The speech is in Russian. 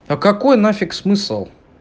а какой нафиг смысл